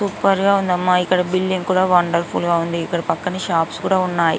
Super గ ఉందమ్మా ఇక్కడ బిల్డింగ్ కూడా వన్డేర్ఫుల్ గ ఉంది ఇక్కడ పక్కనే షాప్స్ కూడా ఉన్నాయి.